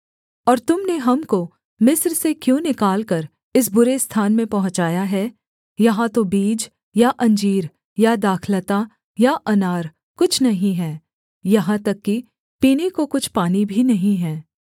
और तुम ने हमको मिस्र से क्यों निकालकर इस बुरे स्थान में पहुँचाया है यहाँ तो बीज या अंजीर या दाखलता या अनार कुछ नहीं है यहाँ तक कि पीने को कुछ पानी भी नहीं है